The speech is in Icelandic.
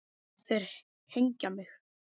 Þeir hengja mig?